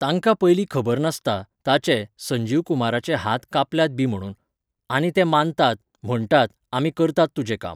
तांकां पयली खबर नासता, ताचे, संजीव कुमाराचे हात कापल्यात बी म्हणून. आनी ते मानतात, म्हणटात, आमी करतात तुजें काम.